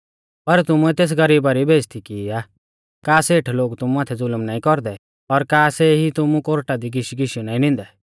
पर तुमुऐ तेस गरीबा री बेइज़्ज़ती की आ का सेठ लोग तुमु माथै ज़ुलम नाईं कौरदै और का सेई ई तुमु कोर्टा दी घीशीघीशियौ नाईं निंदै